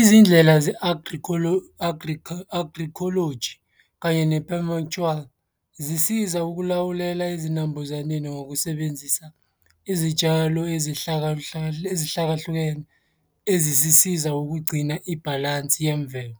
Izindlela ze-agroecology kanye zisiza ukulawulela ezinambuzaneni ngokusebenzisa izitshalo ezihlakahlukene ezizisiza ngokugcina ibhalansi yemvelo.